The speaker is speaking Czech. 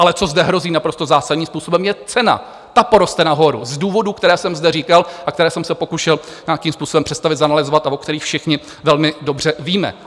Ale co zde hrozí naprosto zásadní způsobem, je cena, ta poroste nahoru, z důvodů, které jsem zde říkal a které jsem se pokoušel nějakým způsobem představit, zanalyzovat a o kterých všichni velmi dobře víme.